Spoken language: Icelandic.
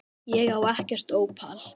Ég á ekkert ópal